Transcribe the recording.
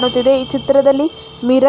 ಮತ್ತ್ ಇದು ಈ ಚಿತ್ರದಲ್ಲಿ ಮಿರರ್ --